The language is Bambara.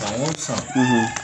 San o san